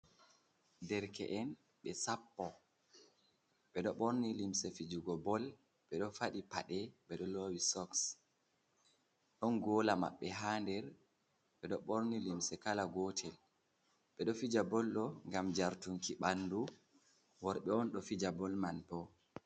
Derke’en ɓe sappo ɓe ɗo ɓorni limse fijugo bol, ɓe ɗo faɗi paɗe, ɓeɗo lowi soks, ɗon gola maɓɓe ha der, ɓeɗo ɓorni limse kala gotel, ɓedo fija bol ɗo gam jartunki ɓandu, worɓe on ɗo fija bol man bo.